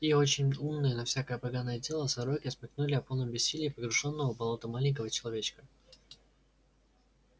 и очень умные на всякое поганое дело сороки смекнули о полном бессилии погружённого в болото маленького человечка